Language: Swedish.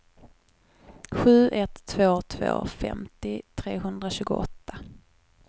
sju ett två två femtio trehundratjugoåtta